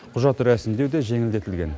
құжат рәсімдеу де жеңілдетілген